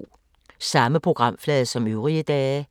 Samme programflade som øvrige dage